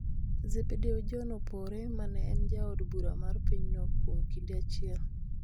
Zebedeo John Opore ma ne en ja od bura ma pinyno kuom kinde achiel.